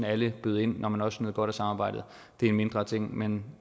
at alle bød ind når man også nød godt af samarbejdet det er en mindre ting men